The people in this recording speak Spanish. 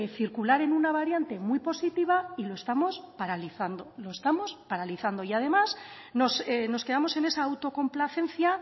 circular en una variante muy positiva y lo estamos paralizando lo estamos paralizando y además nos quedamos en esa autocomplacencia